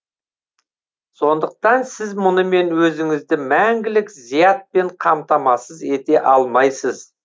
сондықтан сіз мұнымен өзіңізді мәңгілік зиятпен қаматамасыз ете алмайсыз